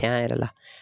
Cɛn yɛrɛ la